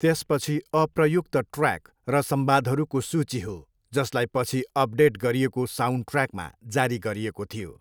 त्यसपछि अप्रयुक्त ट्र्याक र संवादहरूको सूची हो जसलाई पछि अपडेट गरिएको साउन्डट्र्याकमा जारी गरिएको थियो।